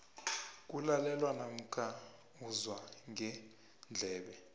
kulalelwa namkha uzwa ngendlebe